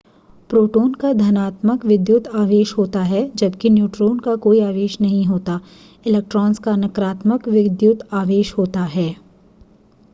proton का धनात्मक विद्युत आवेश होता है जबकि न्यूट्रॉन का कोई आवेश नहीं होता इलेक्ट्रॉन्स का नकारात्मक विद्युत आवेश होता है